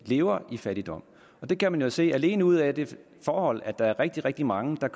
lever i fattigdom det kan man jo se alene ud af det forhold at der er rigtig rigtig mange der